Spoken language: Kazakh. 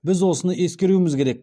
біз осыны ескеруіміз керек